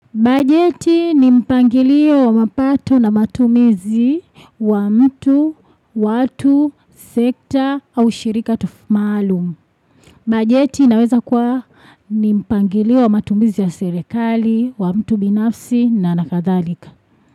Bajeti ni mpangilio wa mapato na matumizi wa mtu, watu, sekta au shirika maalum. Bajeti inaweza kuwa ni mpangilio wa matumizi ya serikali, wa mtu binafsi na kadhalika.